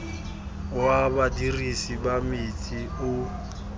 wa badirisi ba metsi o